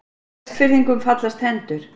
Vestfirðingum fallast hendur